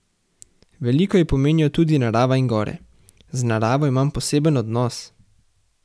Veliko ji pomenijo tudi narava in gore: "Z naravo imam poseben odnos.